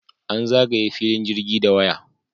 An zagaye filin jirgin da waya.